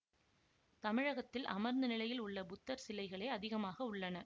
தமிழகத்தில் அமர்ந்த நிலையில் உள்ள புத்தர் சிலைகளே அதிகமாக உள்ளன